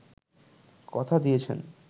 কথা দিয়েছেন